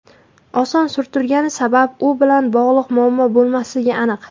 Oson surtilgani sabab u bilan bog‘liq muammo bo‘lmasligi aniq.